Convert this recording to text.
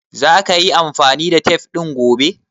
Za ka yi amfani da tef ɗin gobe?